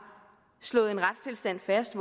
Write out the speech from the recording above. slået en retstilstand fast